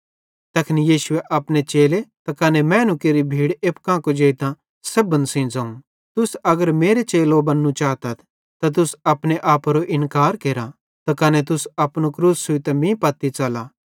तैखन यीशुए अपने चेले त कने मैनू केरि भीड़ एप्पू कां कुजेइतां सेब्भन सेइं ज़ोवं तुस अगर मेरे चेलो बन्नू चातथ त तुस अपने आपेरो इन्कार केरा त कने तुस अपनू क्रूस छ़ुइतां मीं पत्ती च़ला